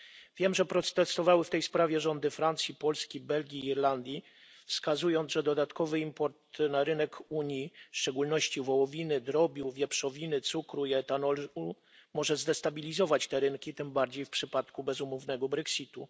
Wiem, że protestowały w tej sprawie rządy Francji, Polski, Belgii i Irlandii, wskazując, że dodatkowy import na rynek Unii, w szczególności wołowiny, drobiu, wieprzowiny, cukru i etanolu, może zdestabilizować te rynki, tym bardziej w przypadku bezumownego brexitu.